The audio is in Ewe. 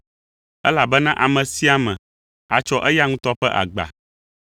elabena ame sia ame atsɔ eya ŋutɔ ƒe agba.